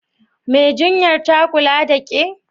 Mai jinyar ta kula da ƙe?